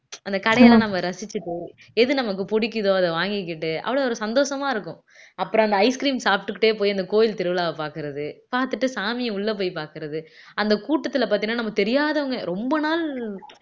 அந்த கடையெல்லாம் நம்ம ரசிச்சிட்டோம் எது நமக்கு பிடிக்குதோ அத வாங்கிகிட்டு அவ்வளவு ஒரு சந்தோஷமா இருக்கும் அப்புறம் அந்த ice cream சாப்பிட்டுக்கிட்டே போய் அந்த கோயில் திருவிழாவை பார்க்கிறது பார்த்துட்டு சாமியை உள்ள போய் பார்க்கிறது அந்த கூட்டத்துல பார்த்தீங்கன்னா நமக்கு தெரியாதவங்க ரொம்ப நாள்